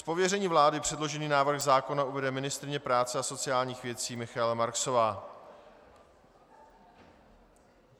Z pověření vlády předložený návrh zákona uvede ministryně práce a sociálních věcí Michaela Marksová.